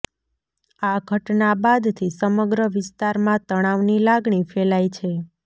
આ ઘટના બાદથી સમગ્ર વિસ્તારમાં તનાવની લાગણી ફેલાઇ છે